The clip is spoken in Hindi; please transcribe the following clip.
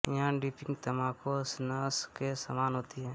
यह डीपिंग तम्बाकू और स्नस के समान होती है